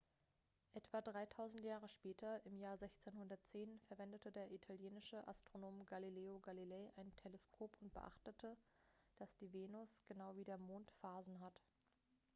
etwa dreitausend jahre später im jahr 1610 verwendete der italienische astronom galileo galilei ein teleskop und beobachtete dass die venus genau wie der mond phasen hat